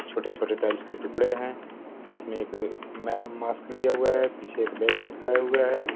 छोटे-छोटे टाइल्स के टुकड़े है हाथ में एक में रे मास्क लिए हुए है पीछे एक बैग लटकाए हुआ है।